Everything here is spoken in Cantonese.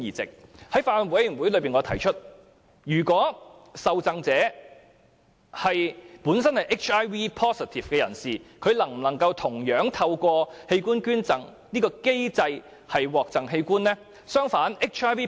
就此，我曾在法案委員會會議上提出，若受贈者本身是 HIV-positive 人士，他能否同樣透過器官捐贈機制獲贈器官呢？